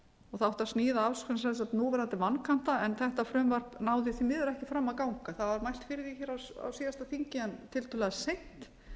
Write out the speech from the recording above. og það átti að sníða af núverandi vankanta en þetta frumvarp náði því miður ekki fram að ganga það var mælt fyrir því á síðan þingi en tiltölulega seint